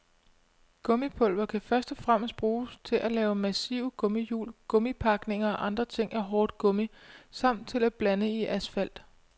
Gummipulver kan først og fremmest bruges til at lave massive gummihjul, gummipakninger og andre ting af hårdt gummi samt til at blande i asfalt.